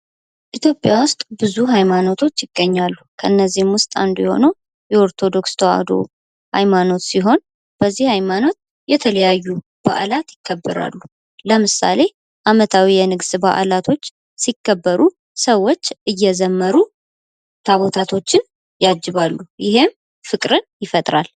ኢትዮጵያ ውስጥ ብዙ ሀይማኖቶች ይገኛሉ ::ከነዚህ ውስጥ አንዱ የሆነው የኦርቶዶክስ ተዋህዶ ሃይማኖት ሲሆን በዚህ ሃይማኖት የተለያዩ በዓላት ይከበራሉ:: ለምሳሌ ዓመታዊ የንግስ በአላቶች ሲከበሩ ሰዎች እየዘመሩ ታቦታቶችን ያጅባሉ ይህም ፍቅርን ይፈጥራል ::